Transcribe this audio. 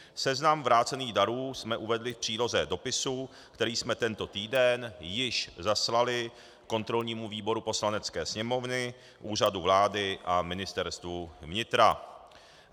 Seznam vrácených darů jsme uvedli v příloze dopisu, který jsme tento týden již zaslali kontrolnímu výboru Poslanecké sněmovny, Úřadu vlády a Ministerstvu vnitra.